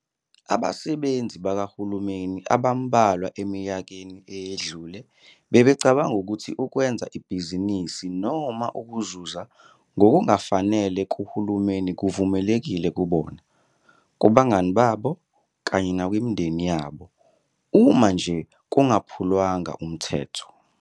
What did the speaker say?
Abasebenzi bakahulumeni abambalwa eminyakeni eyedlule bebecabanga ukuthi ukwenza ibhizinisi noma ukuzuza ngokungafanele kuHulumeni kuvumelekile kubona, kubangani babo kanye nakwimindeni yabo, uma nje kungaphulwanga umthetho.